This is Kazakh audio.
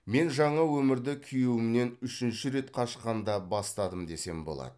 мен жаңа өмірді күйеуімнен үшінші рет қашқанда бастадым десем болады